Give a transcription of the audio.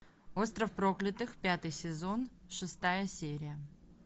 остров проклятых пятый сезон шестая серия